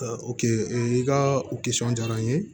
i ka o kisɔn diyara n ye